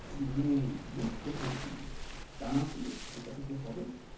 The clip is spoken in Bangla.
মানে বীজ কোথায় কিনবো মানে দানা গুলো যেটা থাকে হবে?